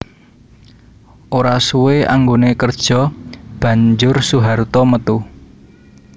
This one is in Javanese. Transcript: Ora suwé anggoné kerja banjur Soeharto metu